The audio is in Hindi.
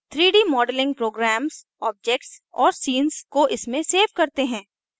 3d modeling programs objects और scenes को इसमें सेव करते हैं